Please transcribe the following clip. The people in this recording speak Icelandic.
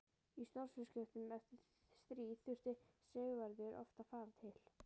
Í stórviðskiptum eftir stríð þurfti Sigvarður oft að fara til